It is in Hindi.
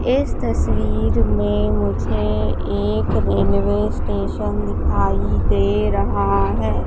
इस तस्वीर में मुझे एक रेलवे स्टेशन दिखाई दे रहा है।